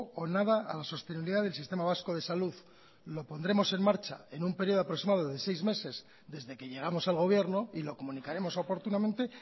o nada a la sostenibilidad del sistema vasco de salud lo pondremos en marcha en un período aproximado de seis meses desde que llegamos al gobierno y lo comunicaremos oportunamente